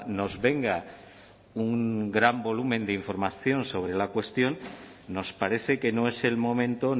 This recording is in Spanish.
nos venga un gran volumen de información sobre la cuestión nos parece que no es el momento